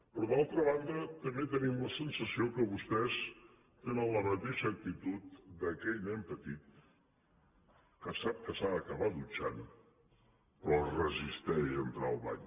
però d’altra banda també tenim la sensació que vostès tenen la mateixa actitud d’aquell nen petit que sap que s’ha d’acabar dutxant però que es resisteix a entrar al bany